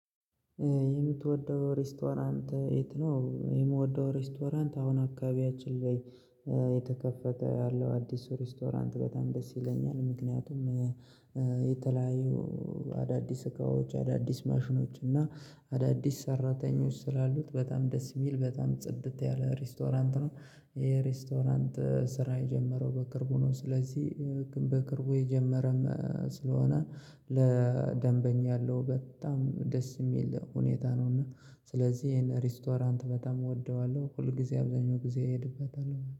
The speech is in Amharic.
የምትወደው ሬስቶራንት የት ነው? የምወደው ሬስቶራንት አሁን አካባቢያችን ላይ የተከፈተ ያለው አዲሱ ሬስቶራንት በጣም ደስ ይለኛል። ምክንያቱም የተለያዩ አዳዲስ እቃዎች አዳዲስ ማሽኖች እና አዳዲስ ሰራተኞች ስላሉት በጣም ደስ የሚል በጣም ጽድት ያለ ሬስቶራንት ነው። የሬስቶራንት ስራ የጀመረው በቅርቡ ነው ስለዚህ በቅርቡ የጀመረም ስለሆነ ለደንበኛ ያለው በጣም ደስ የሚል ሁኔታ ነው። እና ስለዚህ ይሄን ሬስቶራንት በጣም እወደዋለሁ ሁል ጊዜ አብዛኛው ጊዜ እሄድበታል